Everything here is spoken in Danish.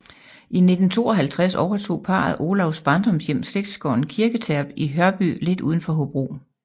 I 1952 overtog parret Olavs barndomshjem slægtsgården Kirketerp i Hørby lidt udenfor Hobro